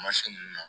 Mansin ninnu na